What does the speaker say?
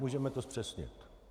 Můžeme to zpřesnit.